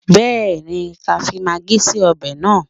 Bẹ́ẹ̀ni, ká fi magí sí ọbẹ̀ náà